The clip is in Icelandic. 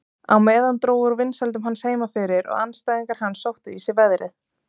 Á meðan dró úr vinsældum hans heima fyrir og andstæðingar hans sóttu í sig veðrið.